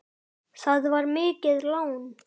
Það var mikið lán.